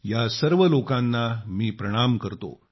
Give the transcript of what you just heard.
या सर्व लोकांना मी सलाम करतो